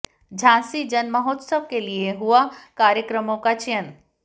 झांसी जन महोत्सव के लिए हुआ कार्यक्रमों का चयन